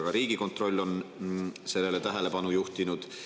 Ka Riigikontroll on sellele tähelepanu juhtinud.